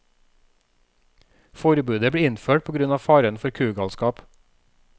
Forbudet ble innført på grunn av faren for kugalskap.